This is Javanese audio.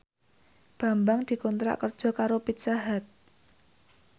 Bambang dikontrak kerja karo Pizza Hut